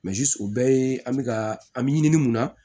o bɛɛ ye an bɛ ka an bɛ ɲini mun na